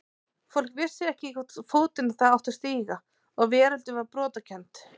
Fólk vissi ekki í hvorn fótinn það átti að stíga og veröldin var brotakennd.